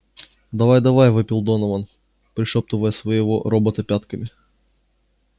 давай давай вопил донован пришёптывая своего робота пятками